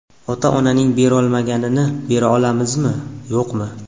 Ota-onaning berolmaganini bera olamizmi, yo‘qmi?